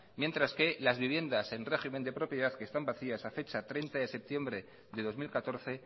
mientras que las vivienda en régimen de propiedad que están vacías a fecha treinta de septiembre de dos mil catorce